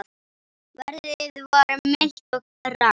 Veðrið var milt og rakt.